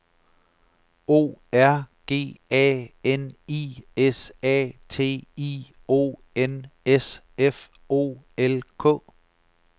O R G A N I S A T I O N S F O L K